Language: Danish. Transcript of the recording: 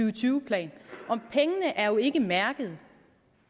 og tyve plan og pengene er jo ikke mærket